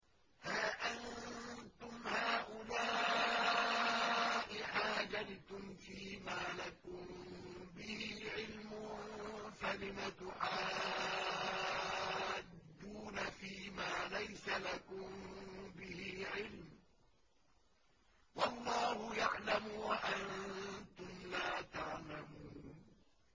هَا أَنتُمْ هَٰؤُلَاءِ حَاجَجْتُمْ فِيمَا لَكُم بِهِ عِلْمٌ فَلِمَ تُحَاجُّونَ فِيمَا لَيْسَ لَكُم بِهِ عِلْمٌ ۚ وَاللَّهُ يَعْلَمُ وَأَنتُمْ لَا تَعْلَمُونَ